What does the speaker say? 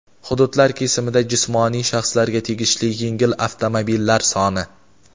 Hududlar kesimida jismoniy shaxslarga tegishli yengil avtomobillar soni:.